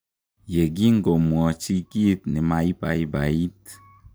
Yegikomwochi kiit nemeibaibaiit.